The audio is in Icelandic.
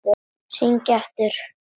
Hringi aftur!